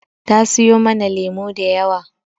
Ta siyo mana lemu da yawa.